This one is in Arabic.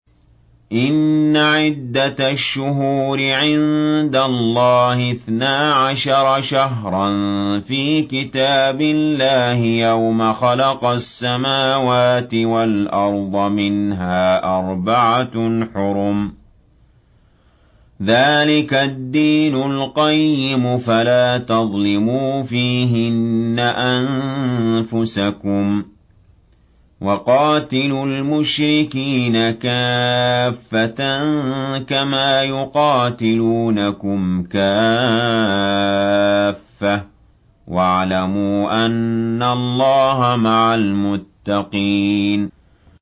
إِنَّ عِدَّةَ الشُّهُورِ عِندَ اللَّهِ اثْنَا عَشَرَ شَهْرًا فِي كِتَابِ اللَّهِ يَوْمَ خَلَقَ السَّمَاوَاتِ وَالْأَرْضَ مِنْهَا أَرْبَعَةٌ حُرُمٌ ۚ ذَٰلِكَ الدِّينُ الْقَيِّمُ ۚ فَلَا تَظْلِمُوا فِيهِنَّ أَنفُسَكُمْ ۚ وَقَاتِلُوا الْمُشْرِكِينَ كَافَّةً كَمَا يُقَاتِلُونَكُمْ كَافَّةً ۚ وَاعْلَمُوا أَنَّ اللَّهَ مَعَ الْمُتَّقِينَ